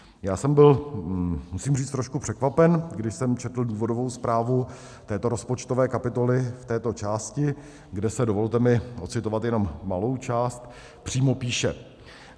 Já jsem byl, musím říct, trošku překvapen, když jsem četl důvodovou zprávu této rozpočtové kapitoly v této části, kde se, dovolte mi odcitovat jenom malou část, přímo píše: